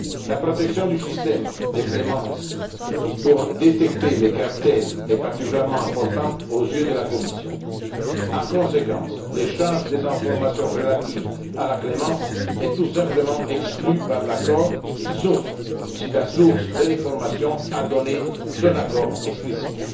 La protection du système de clémence pour détecter les cartels est particulièrement importante aux yeux de la Commission. En conséquence, l'échange des informations relatives à la clémence est tout simplement exclu par l'accord, sauf si la source de l'information a donné son accord explicite.